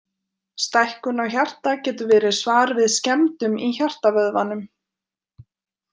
Stækkun á hjarta getur verið svar við skemmdum í hjartavöðvanum.